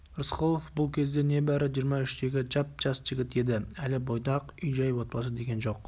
рысқұлов бұл кезде небәрі жиырма үштегі жап-жас жігіт еді әлі бойдақ үй-жай отбасы деген жоқ